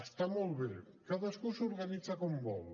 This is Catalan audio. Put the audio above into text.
està molt bé cadascú s’organitza com vol